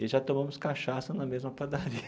E já tomamos cachaça na mesma padaria.